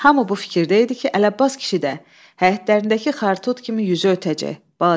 Hamı bu fikirdə idi ki, Əli Abbas kişi də həyətlərindəki xar-xut kimi yüzü ötəcək.